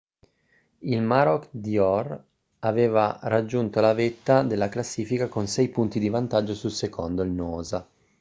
il maroochydore aveva raggiunto la vetta della classifica con sei punti di vantaggio sul secondo il noosa